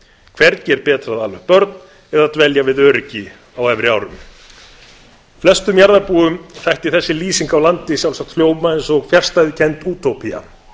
hvergi er betra að ala upp börn eða dvelja við öryggi á efri árum flestum jarðarbúum þætti þessi lýsing á landi sjálfsagt hljóma eins og fjarstæðukennd útópía